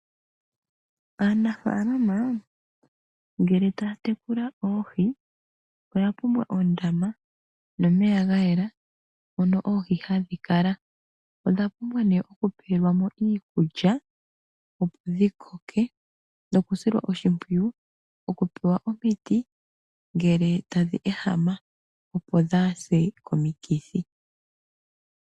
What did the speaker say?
Aanafaalama ngele taya tekula oohi oya pumbwa oondama nomeya ga yela mono oohi hadhi kala. Odha pumbwa nduno okupewelwa mo iikulya, opo dhi koke nokusilwa oshimpwiyu, okupewa omiti ngele tadhi ehama, opo dhaa se komikithi.